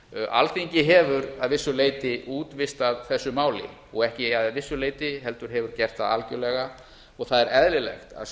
alþingi hefur að vissu leyti útvistað þessu máli og ekki að vissu leyti heldur hefur gert það algjörlega og það er eðlilegt að